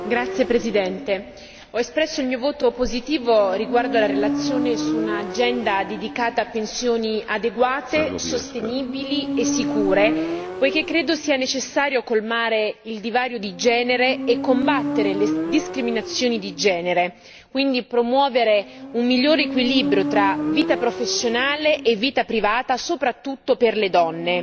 Signor Presidente, onorevoli colleghi, ho espresso il mio voto positivo riguardo alla relazione su un'agenda dedicata a pensioni adeguate, sicure e sostenibili perché credo sia necessario colmare il divario di genere e combattere le discriminazioni di genere e quindi promuovere un migliore equilibrio tra vita professionale e vita privata soprattutto per le donne.